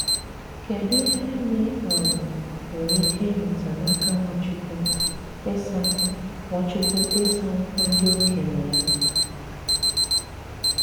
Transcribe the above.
Kédù ìhè ànyị̀ um nwèrè ìkè ịmụ̀tá n'aka Nwachukwu 'ịsà Nwachukwu 'ịsà ụ̀kwù ndị òkénye yà?